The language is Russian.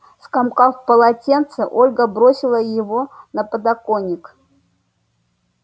скомкав полотенце ольга бросила его на подоконник